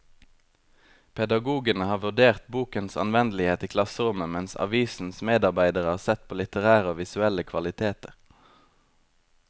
Pedagogene har vurdert bokens anvendelighet i klasserommet, mens avisens medarbeidere har sett på litterære og visuelle kvaliteter.